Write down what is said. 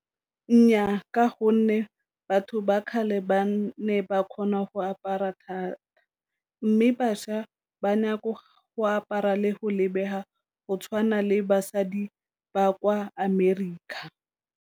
Nnyaa, ka gonne batho ba kgale ba ne ba kgona go apara thata, mme bašwa ba go apara le go lebega go tshwana le basadi ba kwa America.